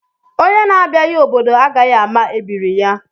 Onye na abịaghị obodo agaghị ama ebiri ya